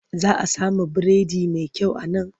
Za a samu biredi mai kyau a nan.